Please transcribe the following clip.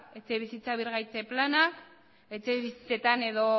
etxebizitza birgaitze planak etxebizitzetan edo